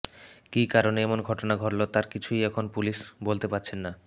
কী কারণে এমন ঘটনা ঘটল তার কিছুই এখন পুলিশ বলতে পারছে না